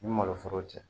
Ni maloforo cɛ